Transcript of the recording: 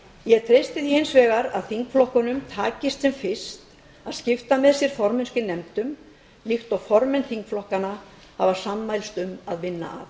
ég treysti því hins vegar að þingflokkunum takist sem fyrst að skipta með sér formennsku í nefndunum líkt og formenn þingflokkanna hafa sammælst um að vinna